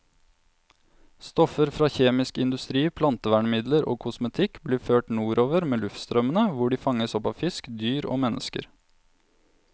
Stoffer fra kjemisk industri, plantevernmidler og kosmetikk blir ført nordover med luftstrømmene, hvor de fanges opp av fisk, dyr og mennesker.